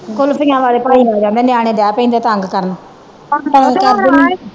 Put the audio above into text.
ਕੁਲਫੀਆਂ ਵਾਲੇ ਭਾਈ ਆ ਜਾਂਦੇ ਨਿਆਣੇ ਦਏ ਪੈਂਦੇ ਤੰਗ ਕਰਨ